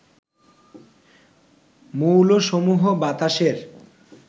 মৌলসমূহ বাতাসের